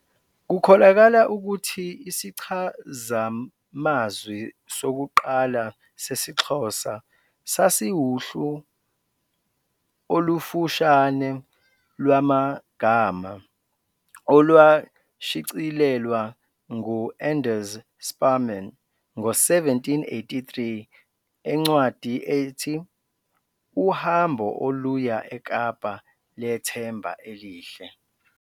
Kukholakala ukuthi isichazamazwi sokuqala sesiXhosa sasiwuhlu olufushane lwamagama olwashicilelwa ngu-Anders Sparrman ngo-1783 encwadi ethi "Uhambo oluya eKapa leThemba eliHle".